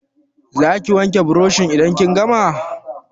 Za ki wanke burushin idan kin gama?